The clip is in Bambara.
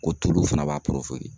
Ko tulu fana b'a